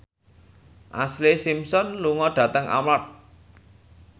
Ashlee Simpson lunga dhateng Armargh